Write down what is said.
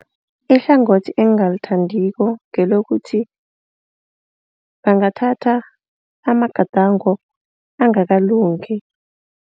Ihlangothi engingalithandiko ngelokuthi bangathatha amagadango angakalungi.